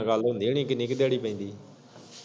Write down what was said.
ਗੱਲ ਹੁੰਦੀ ਹੁਨੀ ਕਿੰਨੀ ਕ ਦਿਆੜੀ ਪੈਂਦੀ?